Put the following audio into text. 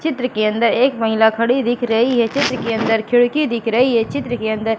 चित्र के अंदर एक महिला खड़ी दिख रही है चित्र के अंदर खिड़की दिख रही है चित्र के अंदर--